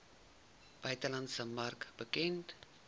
buitelandse mark bekend